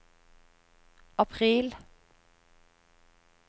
april